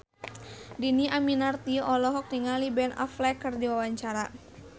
Dhini Aminarti olohok ningali Ben Affleck keur diwawancara